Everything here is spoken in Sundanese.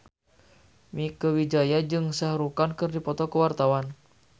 Mieke Wijaya jeung Shah Rukh Khan keur dipoto ku wartawan